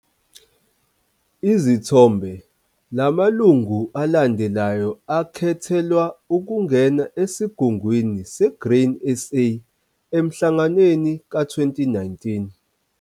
Izithombe. La malungu alandelayo akhethelwa ukungena eSigungwini seGrain SA eMhlanganweni ka-2019.